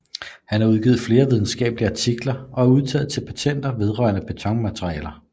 Han har udgivet flere videnskabelige artikler og udtaget patenter vedrørende betonmaterialer